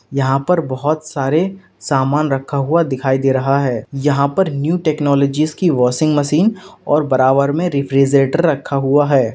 यहां पर बोहोत सारे सामान रखा हुआ दिखाई दे रहा है यहां पर न्यू टेक्नोलॉजीस की वॉशिंग मशीन और बराबर में रिफ्रीजेटर रखा हुआ है।